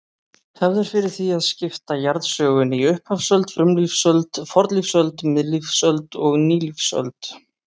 Hefð er fyrir því að skipta jarðsögunni í upphafsöld, frumlífsöld, fornlífsöld, miðlífsöld og nýlífsöld.